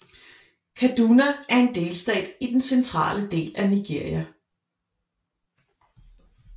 Kaduna er en delstat i den centrale del af Nigeria